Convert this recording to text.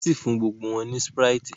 nwọn sí fún gbogbo wón ní sprite